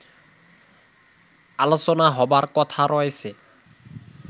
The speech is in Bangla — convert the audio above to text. আলোচনা হবার কথা রয়েছে